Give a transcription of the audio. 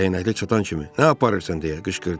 Dəyənəkliyə çatan kimi nə aparırsan deyə qışqırdı.